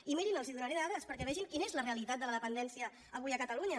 i mirin els donaré en dades perquè vegin quina és la realitat de la dependència avui a catalunya